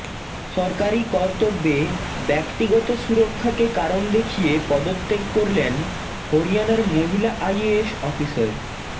সরকারি কর্তব্যে ব্যক্তিগত সুরক্ষাকে কারণ দেখিয়ে পদত্যাগ করলেন হরিয়ানার মহিলা আইএএস অফিসার